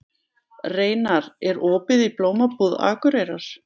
Reynar, er opið í Blómabúð Akureyrar?